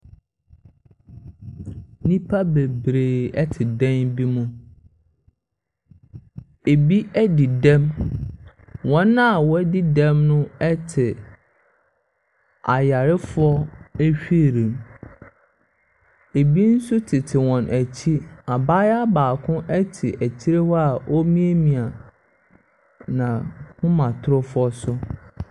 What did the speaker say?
Nnipa bebree te dan bi mu. Ɛbi adi dɛm. Wɔn a wɔadi dɛn mi te ayarefoɔ wheel mu. Ɛbi nso tete wɔn akyi. Abaayewa baako te akyire hɔ a ɔremiamia n'ahomatorofoɔ so.